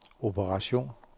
operation